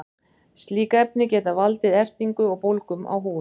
slík efni geta valdið ertingu og bólgum á húð